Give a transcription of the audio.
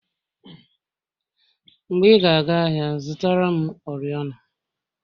Mgbe ị ga aga ahịa zụtara m oriọna